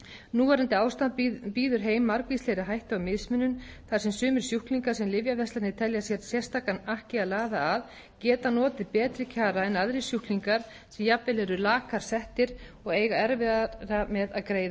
núverandi ástand býður heim margvíslegri hættu á mismunun þar sem sumir sjúklingar sem lyfjaverslanir telja sér sérstakan akk í að laða að geta notið betri kjara en aðrir sjúklingar sem jafnvel eru lakar settir og eiga erfiðara með að greiða sinn